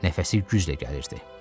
Nəfəsi güclə gəlirdi.